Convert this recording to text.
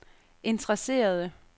interesserede